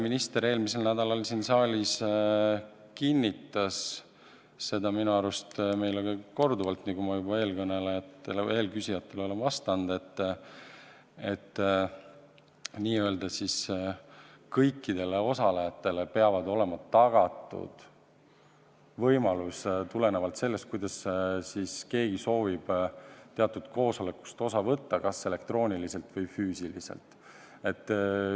Minister eelmisel nädalal siin saalis kinnitas seda minu arust korduvalt, nii nagu ma eelküsijatele olen vastanud, et n-ö kõikidele osalejatele peab olema tagatud võimalus tulenevalt sellest, kuidas keegi soovib teatud koosolekust osa võtta, osaleda kas elektrooniliselt või füüsiliselt.